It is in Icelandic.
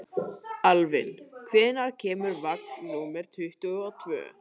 Alvin, hvenær kemur vagn númer tuttugu og tvö?